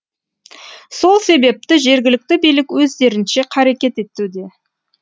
сол себепті жергілікті билік өздерінше қарекет етуде